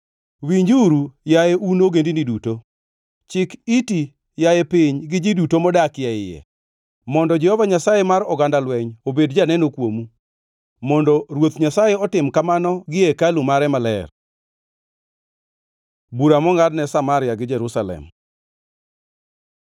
Winjuru, yaye un ogendini duto. Chik iti yaye piny gi ji duto modakie iye, mondo Jehova Nyasaye mar oganda lweny obed janeno kuomu, mondo Ruoth Nyasaye otim kamano gie hekalu mare maler. Bura mongʼadne Samaria gi Jerusalem